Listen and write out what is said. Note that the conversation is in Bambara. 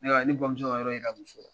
Ne ka ne bamuso ka yɔrɔ yira muso la